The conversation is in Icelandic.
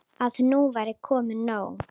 Að nú væri komið nóg.